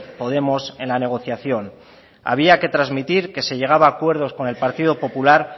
podemos en la negociación había que trasmitir que se llegaba a acuerdos con el partido popular